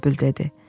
bülbül dedi.